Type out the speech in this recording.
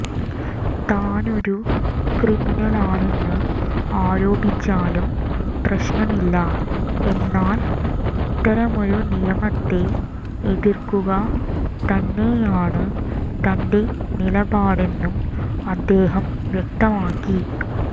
താനൊരു ക്രിമിനലാണെന്ന് ആരോപിച്ചാലും പ്രശ്നമില്ല എന്നാൽ ഇത്തരമൊരു നിയമത്തെ എതിർക്കുക തന്നെയാണ് തന്റെ നിലപാടെന്നും അദ്ദേഹം വ്യക്തമാക്കി